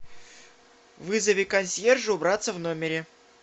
вызови консьержа убраться в номере